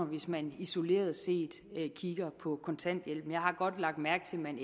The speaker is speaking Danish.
hvis man isoleret set kigger på kontanthjælpen jeg har godt lagt mærke til at man